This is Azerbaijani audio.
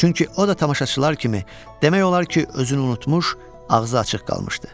Çünki o da tamaşaçılar kimi demək olar ki, özünü unutmuş, ağzı açıq qalmışdı.